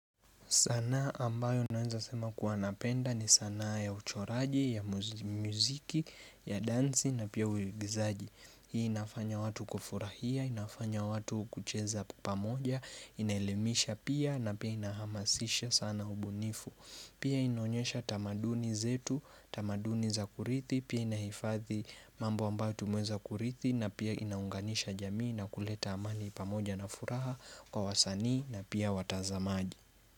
Sanaa ambayo naweza sema kuwa napenda ni sanaa ya uchoraji, ya muziki, ya dansi na pia uigizaji Hii inafanya watu kufurahia, inafanya watu kucheza pamoja, inaelemisha pia na pia inahamasisha sana ubunifu Pia inonyesha tamaduni zetu, tamaduni za kurithi, pia inahifadhi mambo ambayo tumeweza kurithi na pia inaunganisha jamii na kuleta amani pamoja na furaha kwa wasanii na pia watazamaji.